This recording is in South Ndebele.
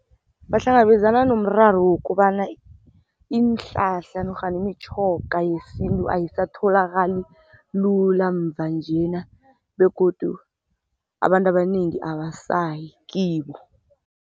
Bahlangabezana nomraro wokobana, iinhlahla nofana imitjhoga yesintu ayisatholakali lula mvanjena begodu abantu abanengi abasayi kibo.